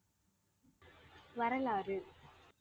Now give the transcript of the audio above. வரலாறு